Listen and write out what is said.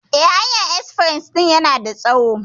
Eh, hanyar espres din na da tsawo.